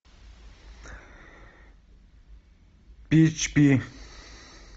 пи эйч пи